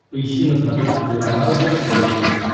поищи на смотрешке телеканал бокс тв плюс